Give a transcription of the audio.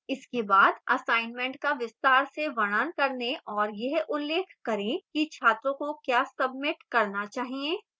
इसके बाद assignment का विस्तार से वर्णन करें और यह उल्लेख करें कि छात्रों को क्या सबमिट करना चाहिए